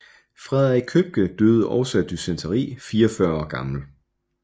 Frederik Købke døde også af dysenteri 44 år gammel